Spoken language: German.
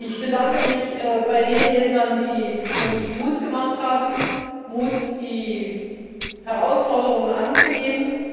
Ich bedanke mich bei den Rednern, die uns Mut gemacht haben Mut, die Herausforderungen anzunehmen.